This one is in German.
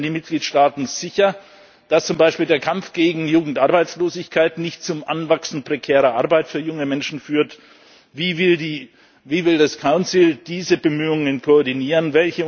Wie stellen die Mitgliedstaaten sicher, dass zum Beispiel der Kampf gegen Jugendarbeitslosigkeit nicht zum Anwachsen prekärer Arbeit für junge Menschen führt? Wie will der Rat diese Bemühungen koordinieren?